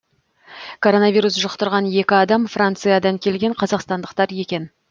коронавирус жұқтырған екі адам франциядан келген қазақстандықтар екен